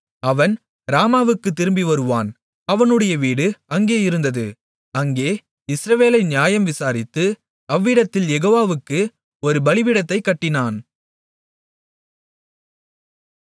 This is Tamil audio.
அவன் ராமாவுக்குத் திரும்பிவருவான் அவனுடைய வீடு அங்கே இருந்தது அங்கே இஸ்ரவேலை நியாயம் விசாரித்து அவ்விடத்தில் யெகோவாவுக்கு ஒரு பலிபீடத்தைக் கட்டினான்